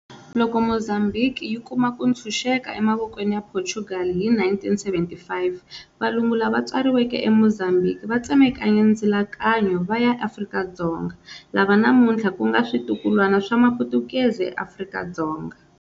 Loko Mozambhiki yi kuma ku ntshuxeka emavokweni ya Portugal hi 1975, valungu lava tswaleriweke eMozambhiki va tsemakanye ndzilakano va ya Afrika-Dzonga, lava namuntlha ku nga xitukulwana xa Mapotukezi eAfrika-Dzonga.